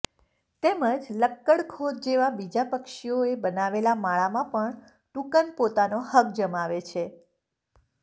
તેમજ લક્કડખોદ જેવા બીજા પક્ષીઓએ બનાવેલા માળામાં પણ ટુકન પોતાનો હક જમાવે છે